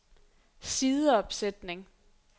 sideopsætning